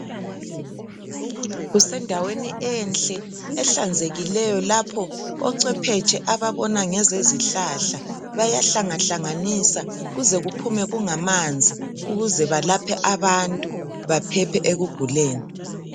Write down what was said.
Kusendaweni enhle ehlanzekileyo lapho ocwephetshe ababona ngezezihlahla. Bayahlangahlanganisa kuze kuphume kungamanzi ukuze balaphe abantu, baphephe ekuguleni.